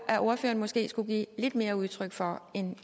at ordføreren måske skulle give lidt mere udtryk for end